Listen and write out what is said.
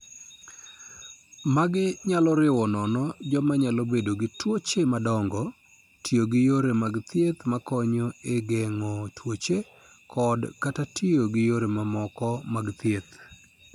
Magi nyalo riwo nono joma nyalo bedo gi tuoche madongo, tiyo gi yore mag thieth makonyo e geng'o tuoche, kod/kata tiyo gi yore moko mag thieth.